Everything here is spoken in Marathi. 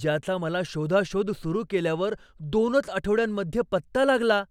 ज्याचा मला शोधाशोध सुरु केल्यावर दोनच आठवड्यांमध्ये पत्ता लागला.